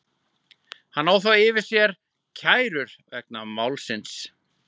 Hann á þó yfir höfði sér kærur vegna málsins.